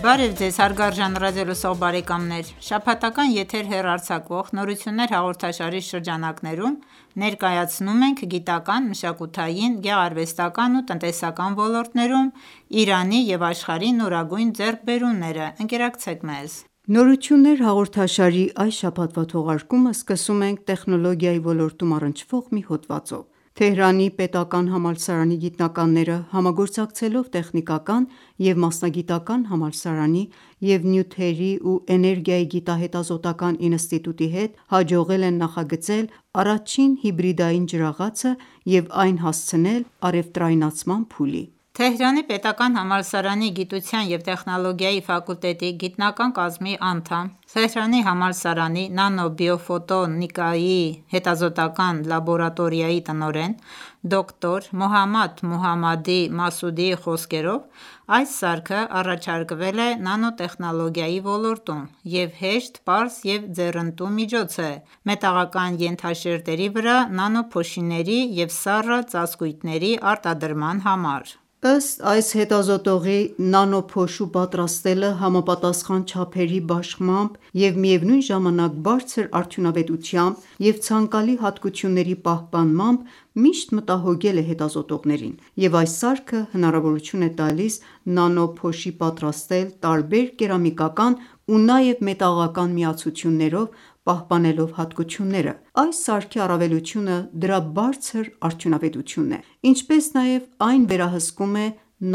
Բարև ձեզ հարգարժան ռադիոլսող բարեկամներ։ Շաբաթական եթեր հեռարձակվող «Նորություններ» հաղորդաշարի շրջանակներում, ներկայացնում ենք գիտական, մշակութային, գեղարվեստական ու տնտեսական ոլորտներում Իրանի ու աշխարհի նորագույն ձեռքբերումները։ Ընկերակցեք մեզ։ «Նորություններ» հաղորդաշարի այս շաբաթվա թողարկումը սկսում ենք տեխնոլոգիայի ոլորտին առնչվող մի հոդվածով։ Թեհրանի պետական համալսարանի գիտնականները, համագործակցելով Տեխնիկական և մասնագիտական համալսարանի և Նյութերի ու էներգիայի գիտահետազոտական ինստիտուտի հետ, հաջողել են նախագծել առաջին հիբրիդային ջրաղացը և այն հասցնել առևտրայնացման փուլի։ Թեհրանի պետական համալսարանի գիտության և տեխնոլոգիայի ֆակուլտետի գիտական կազմի անդամ, Թեհրանի համալսարանի Նանո բիո ֆոտո նիկայի հետազոտական լաբորատորիայի տնoրեն, դոկտոր Մոհամմադ Մոհամմադի Մասուդիի խոսքերով, այս սարքը առաջարկվել է նանոտեխնոլոգիայի ոլորտում և հեշտ, պարզ և ձեռընտու միջոց է մետաղական ենթաշերտերի վրա նանոփոշիների և սառը ծածկույթների արտադրման համար: Ըստ այս հետազոտողի՝ նանոփոշու պատրաստելը համապատասխան չափերի բաշխմամբ և միևնույն ժամանակ բարձր արդյունավետությամբ և ցանկալի հատկությունների պահպանմամբ ,միշտ մտահոգել է հետազոտողներին, և այս սարքը հնարավորություն է տալիս նանոփոշի պատրաստել տարբեր կերամիկական ու նաև մետաղական միացություններով՝ պահպանելով հատկությունները: Այս սարքի առավելությունը ՝դրա բարձր արդյունավետությունն է, ինչպես նաև այն վերահսկում է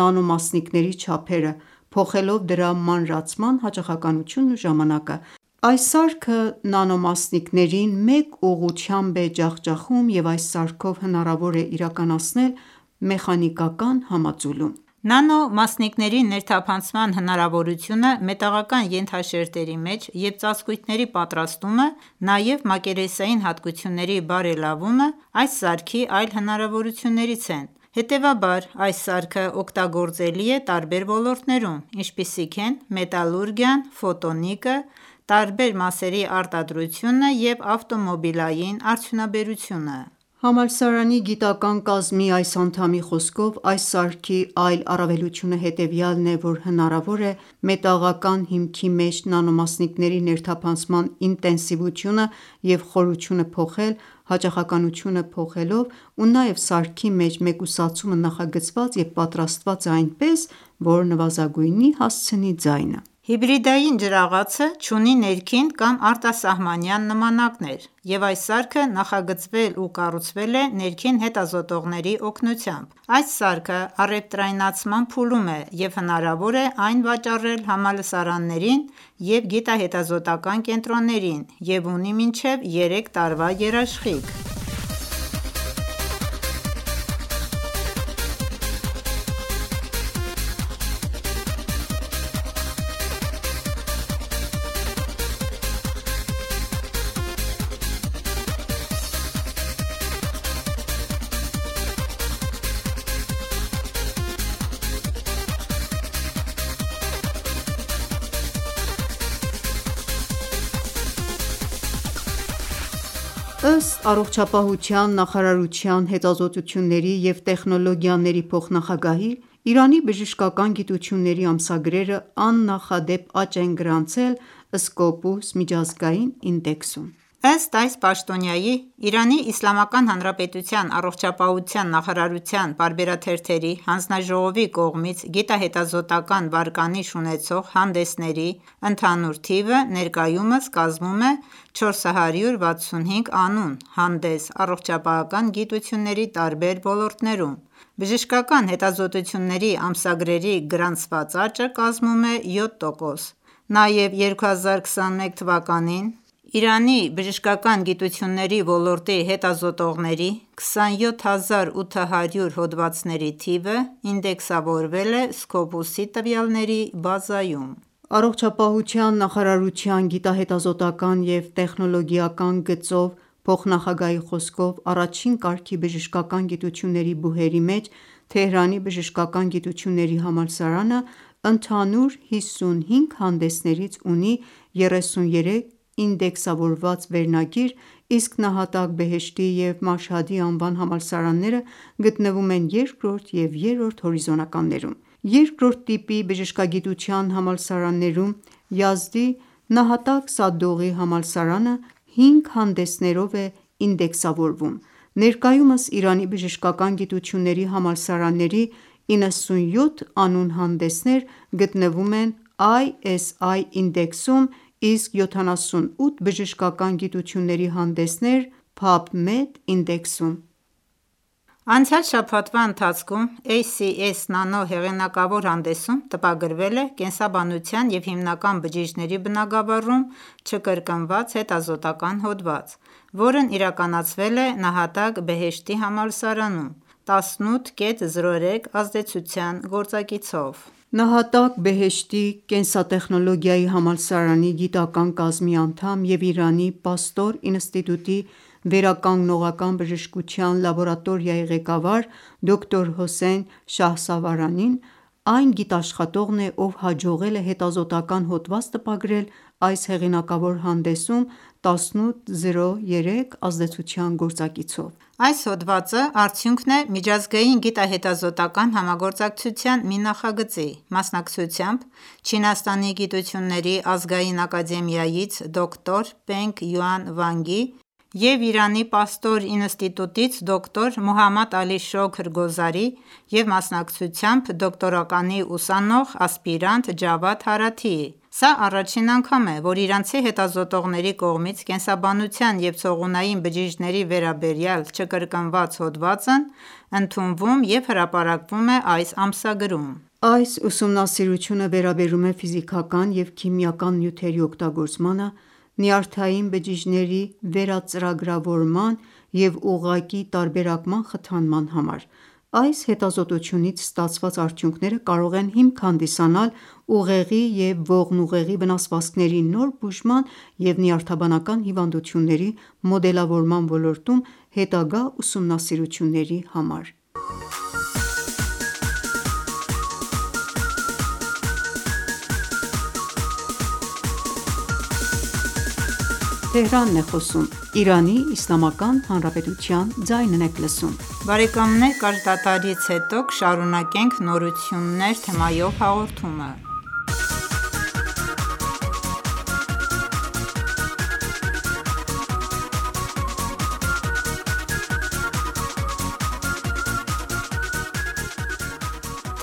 նանոմասնիկների չափերը՝ փոխելով դրա մանրացման հաճախականությունն ու ժամանակը։ Այս սարքը նանոմասնիկներին մեկ ուղղությամբ է ջախջախում և այս սարքով հնարավոր է իրականացնել մեխանիկական համաձուլում: Նանոմասնիկների ներթափանցման հնարավորությունը մետաղական ենթաշերտերի մեջ և ծածկույթների պատրաստումը, նաև մակերեսային հատկությունների բարելավումը այս սարքի այլ հնարավորություններից են: Հետևաբար, այս սարքը օգտագործելի է տարբեր ոլորտներում, ինչպիսիք են՝ մետալուրգիան, ֆոտո նիկը, տարբեր մասերի արտադրությունը և ավտոմոբիլային արդյունաբերությունը: Համալսարանի գիտական կազմի այս անդամի խոսքով, այս սարքի այլ առավելությունը հետևյալն է, որ հնարավոր է մետաղական հիմքի մեջ նանոմասնիկների ներթափանցման ինտենսիվությունը և խորությունը փոխել ,հաճախականությունը փոխելով, ու նաև սարքի մեջ մեկուսացումը նախագծված և պատրաստված է այնպես, որ նվազագույնի հասցնի ձայնը: Հիբրիդային ջրաղացը չունի ներքին կամ արտասահմանյան նմանակներ, և այս սարքը նախագծվել և կառուցվել է ներքին հետազոտողների օգնությամբ։ Այս սարքը առևտրայնացման փուլում է և հնարավոր է այն վաճառել համալսարաններին և գիտահետազոտական կենտրոններին և ունի մինչև երեք տարվա երաշխիք։ Ըստ առողջապահության նախարարության հետազոտությունների և տեխնոլոգիաների փոխնախագահի, Իրանի բժշկական գիտությունների ամսագրերը աննախադեպ աճ են գրանցել «Scopus »միջազգային ինդեքսում ։ Ըստ այս պաշտոնյայի, Իրանի Իսլամական Հանրապետության առողջապահության նախարարության պարբերաթերթերի հանձնաժողովի կողմից գիտահետազոտական վարկանիշ ունեցող հանդեսների ընդհանուր թիվը ներկայումս կազմում է 465 անուն հանդես՝ առողջապահական գիտությունների տարբեր ոլորտներում: Բժշկական հետազոտությունների ամսագրերի գրանցված աճը կազմում է 7տոկոս: Նաև, 2021 թվականին Իրանի բժշկական գիտությունների ոլորտի հետազոտողների 27800 հոդվածների թիվը ինդեքսավորվել է Scopus –ի տվյալների բազայում։ Առողջապահության նախարարության գիտահետազոտական և տեխնոլոգիական գծով փոխնախագահի խոսքով, առաջին կարգի բժշկական գիտությունների բուհերի մեջ՝ Թեհրանի բժշկական գիտությունների համալսարանը ընդհանուր 55 հանդեսներից ունի 33 ինդեքսավորված վերնագիր, իսկ « Նահատակ Բեհեշթի» և «Մաշհադի»անվան համալսարանները գտնվում են երկրորդ և երրորդ հորիզոնականներում: Երկրորդ տիպի բժշկագիտության համալսարաններում ,Յազդի նահատակ «Սադուղի»համալսարանը 5 հանդեսներուվ է ինդեքսավորվում: Ներկայումս, Իրանի բժշկական գիտությունների համալսարանների 97 անուն հանդեսներ գտնվում են ISI ինդեքսում, իսկ 78 բժշկական գիտությունների հանդեսներ՝ PubMed ինդեքսում։ Անցյալ շաբաթվա ընթացքում «ACS Nano» հեղինակավոր հանդեսում տպագրվել է կենսաբանության և հիմնական բջիջների բնագավառում չկրկնված հետազոտական հոդված, որն իրականացվել է «Նահատակ Բեհեշթի» համալսարանում, 18.03 ազդեցության գործակիցով։ Նահատակ«Բեհեշթի» կենսատեխնոլոգիայի համալսարանի գիտական կազմի անդամ և Իրանի Պաստոր ինստիտուտի վերականգնողական բժշկության լաբորատորիայի ղեկավար դոկտոր Հոսեյն Շահսավարանին, այն գիտաշխատողն է, ով հաջողել է հետազոտական հոդված տպագրել այս հեղինակավոր հանդեսում 18.03 ազդեցության գործակիցով։ Այս հոդվածը արդյունքն է միջազգային գիտահետազոտական համագործակցության մի նախագծի, մասնակցությամբ՝ Չինաստանի Գիտությունների Ազգային Ակադեմիայից դոկտոր Պենգ Յուան Վանգի և Իրանի Պաստոր ինստիտուտից դոկտոր Մոհամմադ Ալի Շոքր Գոզարի և մասնակցությամբ ՝դոկտորականի ուսանող, ասպիրանտ Ջավադ Հարաթիի: Սա առաջին անգամ է, որ իրանցի հետազոտողների կողմից կենսաբանության և ցողունային բջիջների վերաբերյալ չկրկնված հոդվածն ընդունվում և հրապարակվում է այս ամսագրում: Այս ուսումնասիրությունը վերաբերում է ֆիզիկական և քիմիական նյութերի օգտագործմանը՝ նյարդային բջիջների վերածրագրավորման և ուղղակի տարբերակման խթանման համար: Այս հետազոտությունից ստացված արդյունքները կարող են հիմք հանդիսանալ ուղեղի և ողնուղեղի վնասվածքների նոր բուժման և նյարդաբանական հիվանդությունների մոդելավորման ոլորտում հետագա ուսումնասիրությունների համար։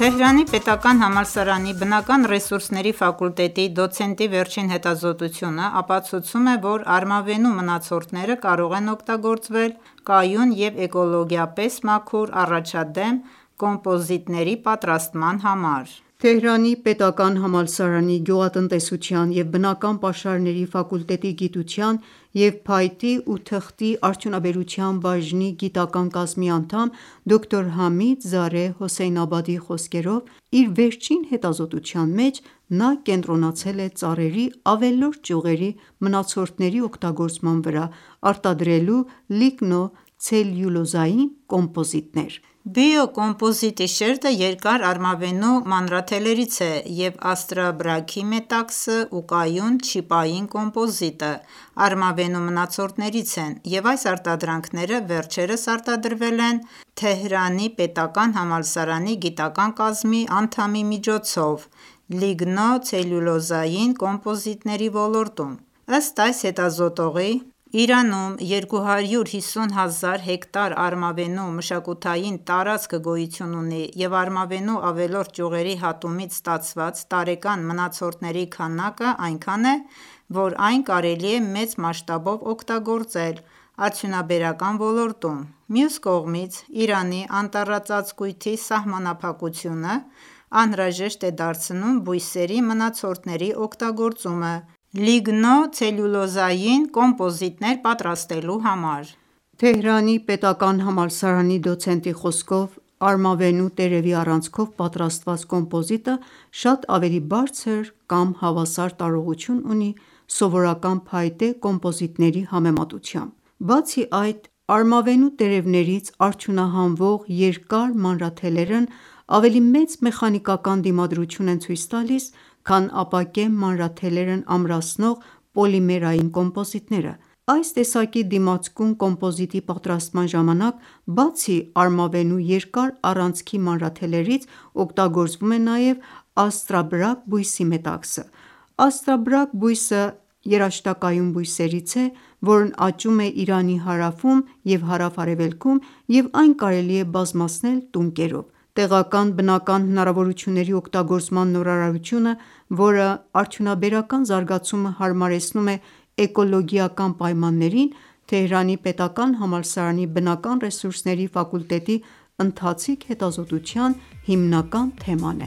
Թեհրանի պետական համալսարանի բնական ռեսուրսների ֆակուլտետի դոցենտի վերջին հետազոտությունը ապացուցում է, որ արմավենու մնացորդները կարող են օգտագործվել կայուն և էկոլոգիապես մաքուր առաջադեմ կոմպոզիտների պատրաստման համար: Թեհրանի պետական համալսարանի գյուղատնտեսության և բնական պաշարների ֆակուլտետի գիտության և փայտի ու թղթի արդյունաբերության բաժնի գիտական կազմի անդամ, դոկտոր Համիդ Զարեհ Հոսեյնաբադիի խոսքերով, իր վերջին հետազոտության մեջ նա կենտրոնացել է ծառերի ավելորդ ճյուղերի մնացորդների օգտագործման վրա, արտադրելու ՝ լիգնո -ցելյուլոզային կոմպոզիտներ: Բիո կոմպոզիտի շերտը երկար արմավենու մանրաթելերից է և աստրաբրագի մետաքսը ու կայուն չիպային կոմպոզիտը ՝արմավենու մնացորդներից են և այս արտադրանքները վերջերս արտադրվել են Թեհրանիպետական համալսարանի գիտական կազմի անդամի միջոցով, լիգնո ցելյուլոզային կոմպոզիտների ոլորտում: Ըստ այս հետազոտողի, Իրանում 250 հազար հեկտար արմավենու մշակության տարածք գոյություն ունի և արմավենու ավելորդ ճյուղերի հատումից ստացված տարեկան մնացորդների քանակը այնքան է, որ այն կարելի է մեծ մասշտաբով օգտագործել արդյունաբերական ոլորտում։ Մյուս կողմից, Իրանի անտառածածկույթի սահմանափակությունը անհրաժեշտ է դարձնում բույսերի մնացորդների օգտագործումը լիգնո ցելյուլոզային կոմպոզիտներ պատրաստելու համար: Թեհրանի պետական համալսարանի դոցենտի խոսքով, արմավենու տերևի առանցքով պատրաստված կոմպոզիտը, շատ ավելի բարձր կամ հավասար տարողություն ունի սովորական փայտե կոմպոզիտների համեմատությամբ ։ Բացի այդ, արմավենու տերևներից արդյունահանվող երկար մանրաթելերն ավելի մեծ մեխանիկական դիմադրություն են ցույց տալիս, քան ապակե մանրաթելերն ամրացնող պոլիմերային կոմպոզիտները: Այս տեսակի դիմացկուն կոմպոզիտի պատրաստման ժամանակ, բացի արմավենու երկար առանցքի մանրաթելերից, օգտագործվում է նաև աստրաբրագ բույսի մետաքսը։ Աստաբրագ բույսը երաշտակայուն բույսերից է, որն աճում է Իրանի հարավում և հարավ-արևելքում, և այն կարելի է բազմացնել տունկերով։ Տեղական բնական հնարավորությունների օգտագործման նորարարությունը, որը արդյունաբերական զարգացումը հարմարեցնում է էկոլոգիական պայմաններին, Թեհրանի պետական համալսարանի բնական ռեսուրսների ֆակուլտետի ընթացիկ հետազոտության հիմնական թեման